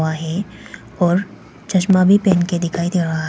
माही और चश्मा भी पहन के दिखाई दे रहा है।